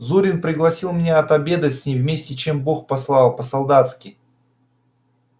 зурин пригласил меня отобедать с ним вместе чем бог послал по-солдатски